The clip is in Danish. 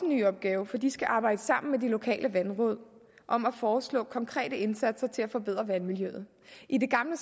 ny opgave for de skal arbejde sammen med de lokale vandråd om at foreslå konkrete indsatser til at forbedre vandmiljøet i det gamle